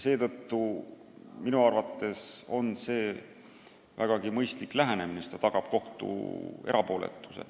Minu arvates on see vägagi mõistlik lähenemine, sest see tagab kohtu erapooletuse.